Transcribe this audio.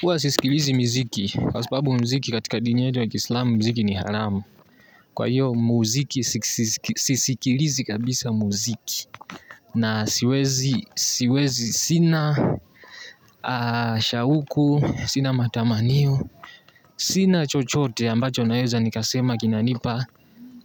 Huwa sisikilizi muziki. Kwa sababu muziki katika dini yetu ya kiislamu, muziki ni haramu. Kwa hiyo muziki sisikilizi kabisa muziki. Na siwezi sina, shauku, sina matamanio, sina chochote ambacho naeza nikasema kinanipa,